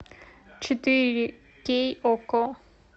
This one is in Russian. четыре кей окко